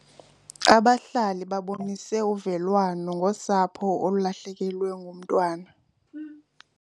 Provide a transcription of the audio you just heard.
Abahlali babonise uvelwano ngosapho olulahlekelwe ngumntwana.